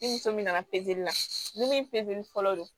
Ni muso min nana la ni min fɔlɔ don